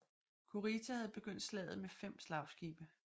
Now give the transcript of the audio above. Kurita havde begyndt slaget med fem slagskibe